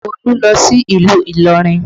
Olu lọ sí ìlú Ilorin